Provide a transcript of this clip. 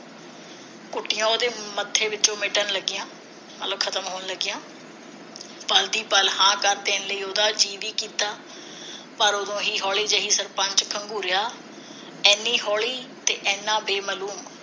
ਉਸਦੇ ਮੱਥੇ ਵਿਚੋਂ ਮਿਟਣ ਲੱਗੀਆਂ ਗੱਲ ਖਤਮ ਹੋਣ ਲੱਗੀਆਂ ਪਲ ਦੀ ਪਲ ਹਾਂ ਕਰ ਦੇਣ ਲਈ ਉਸਦਾ ਜੀਅ ਨਾ ਕੀਤਾ ਪਰ ਉਦੋਂ ਹੀ ਹੌਲੀ ਜਿਹੀ ਸਰਪੰਚ ਖਗੂੰਰਿਆ ਇਨੀ ਹੌਲੀ ਤੇ ਇੰਨਾ ਬੇਮਲੂਮ ਜਿਵੇ